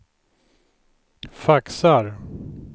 faxar